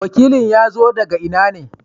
wakilin ya zo daga ina ne?